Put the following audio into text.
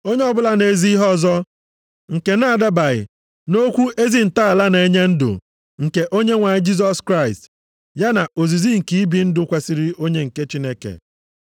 Onye ọbụla na-ezi ihe ọzọ nke na-adabaghị nʼokwu ezi ntọala na-enye ndụ nke Onyenwe anyị Jisọs Kraịst, ya na ozizi nke ibi ndụ kwesiri onye nke Chineke,